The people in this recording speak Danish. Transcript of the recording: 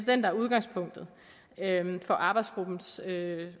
den der er udgangspunktet for arbejdsgruppens